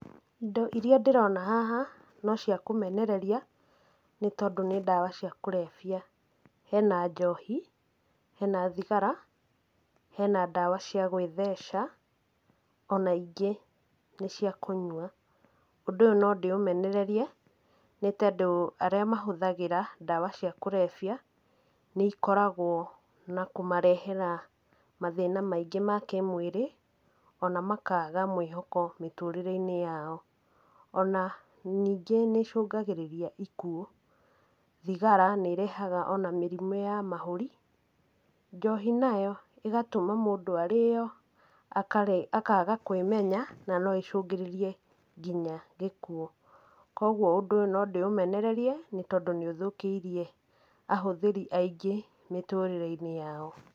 Indo iria ndĩrona haha no cia kũmenereria, nĩtondũ nĩ ndawa cia kũrebia. Hena njohi, hena thigara, hena ndawa cia gwĩtheca, ona ingĩ nĩ cia kũnyua. Ũndũ ũyũ no ndĩũmenererie, nĩtondũ arĩa mahũthagĩra ndawa cia kũrebia, nĩikoragwo na kũmarehera mathĩna maingĩ ma kĩmwĩrĩ, ona makaga mwĩhoko mĩtũrĩre-inĩ yao. Ona ningĩ nĩicũngagĩrĩria ikuũ. Thigara nĩĩrehaga ona mĩrimũ ya mahũri. Njohi nayo ĩgatũma mũndũ arĩo akaga kwĩmenya, na no ĩcungĩrĩrie kinya gĩkuũ. Kuoguo ũndũ ũyũ no ndĩũmenererie nĩtondũ nĩũthũkĩirie ahũthĩri aingĩ mĩtũrĩre-inĩ yao.